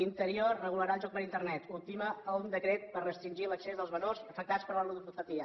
interior regularà el joc per internet ultima un decret per restringir l’accés dels menors afectats per la ludopatia